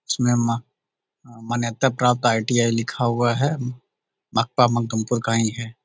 इसमें म मान्यता प्राप्त आई.टी.आई. लिखा हुआ है --